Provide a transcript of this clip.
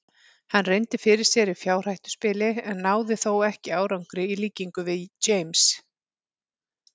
Hann reyndi fyrir sér í fjárhættuspili en náði þó ekki árangri í líkingu við James.